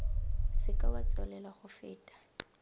seke wa tswelela go feta